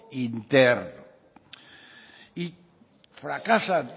interno y fracasan